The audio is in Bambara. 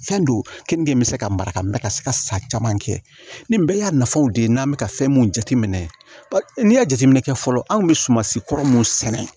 Fɛn don keninge bɛ se ka mara ka mɛn ka se ka san caman kɛ ni bɛɛ y'a nafaw de ye n'an bɛ ka fɛn mun jateminɛ n'i y'a jateminɛ kɛ fɔlɔ anw bɛ sumansi kɔrɔ mun sɛnɛ